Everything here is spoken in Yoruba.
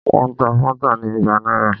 Wọ́n ta Fanta ni igba náírà